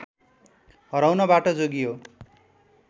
हराउनबाट जोगियो